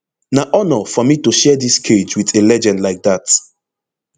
na honour for me to share dis cage wit a legend like dat